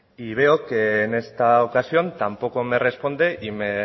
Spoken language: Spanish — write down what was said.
y veo que en esta ocasión tampoco me responde y me